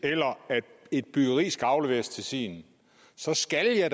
eller at et byggeri skal afleveres til tiden så skal jeg